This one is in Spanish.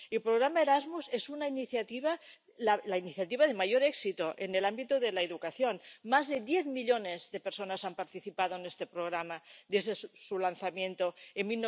el programa Erasmus es la iniciativa de mayor éxito en el ámbito de la educación más de 10 millones de personas han participado en este programa desde su lanzamiento en